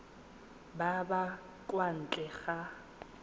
ba ba kwa ntle ga